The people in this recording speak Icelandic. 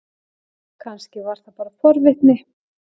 Kannski var það bara forvitni.